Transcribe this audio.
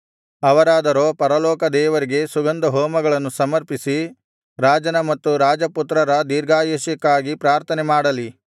ಅವರಾದರೋ ಪರಲೋಕದೇವರಿಗೆ ಸುಗಂಧಹೋಮಗಳನ್ನು ಸಮರ್ಪಿಸಿ ರಾಜನ ಮತ್ತು ರಾಜಪುತ್ರರ ದೀರ್ಘಾಯಷ್ಯಕ್ಕಾಗಿ ಪ್ರಾರ್ಥನೆಮಾಡಲಿ